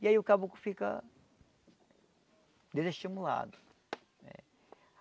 E aí o caboclo fica... desestimulado.